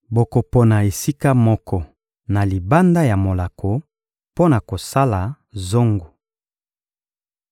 Bokopona esika moko na libanda ya molako, mpo na kosala zongo.